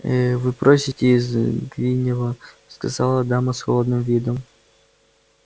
ээ вы просите из гринёва сказала дама с холодным видом